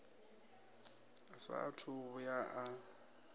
a saathu u vhuya a